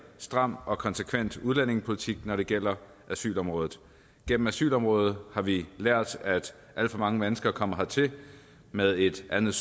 stram og konsekvent udlændingepolitik når det gælder asylområdet gennem asylområdet har vi lært at alt for mange mennesker er kommet hertil med et andet